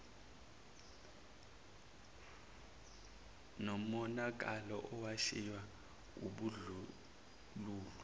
nomonakalo owashiywa wubandlululo